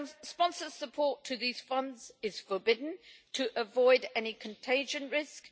sponsored support to these funds is forbidden, to avoid any contagion risk